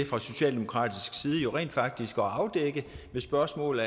fra socialdemokratisk side rent faktisk til at afdække spørgsmål